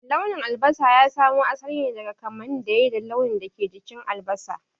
Launin albasa ya samo asali ne daga kamanin da yai da launin da ke jikin albasa.